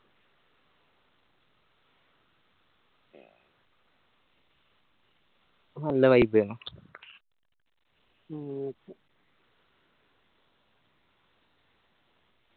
നല്ല vibe എനു